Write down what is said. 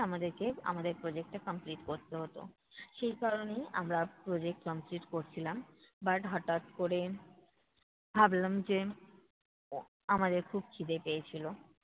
আমাদেরকে, আমাদের project টা complete করতে হতো। সেই কারণেই আমরা project complete করছিলাম। but হটাৎ করে ভাবলাম যে আমাদের খুব ক্ষিদে পেয়েছিলো